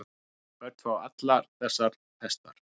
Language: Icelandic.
Börn fá allar þessar pestar.